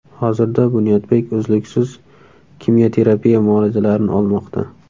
Hozirda Bunyodbek uzluksiz kimyoterapiya muolajalarini olmoqda.